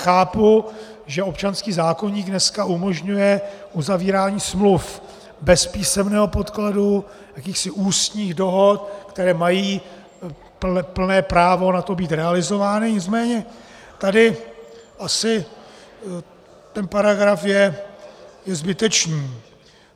Chápu, že občanský zákoník dneska umožňuje uzavírání smluv bez písemného podkladu, jakýchsi ústních dohod, které mají plné právo na to být realizovány, nicméně tady asi ten paragraf je zbytečný.